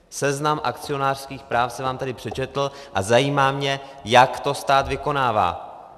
Seznam akcionářských práv jsem vám tady přečetl a zajímá mě, jak to stát vykonává.